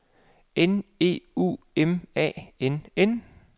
N E U M A N N